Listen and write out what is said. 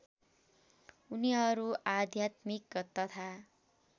उनीहरू आध्यात्मिक तथा